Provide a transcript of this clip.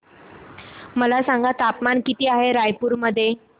मला सांगा तापमान किती आहे रायपूर मध्ये